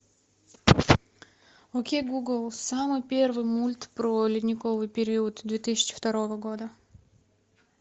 окей гугл самый первый мульт про ледниковый период две тысячи второго года